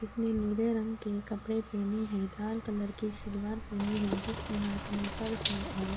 اسنے نیلے رنگ کے کپڑے پہنے ہے. لال کلر کی سلوار پہنی ہے۔ جسکے ہاتھ مے پرس ہے اور --